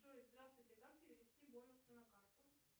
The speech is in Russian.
джой здравствуйте как перевести бонусы на карту